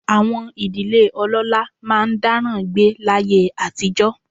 Àwọn ìdílé ọlọ́lá máa ń dáràn gbé láyé àtijọ́